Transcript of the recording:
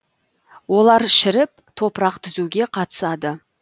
олар шіріп топырақ түзуге қатысады